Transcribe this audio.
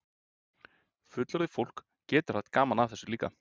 Fullorðið fólk getur haft gaman af þessu líka?